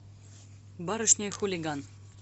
барышня и хулиган